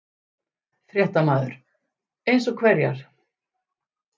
Fréttamaður: Eins og hverjar?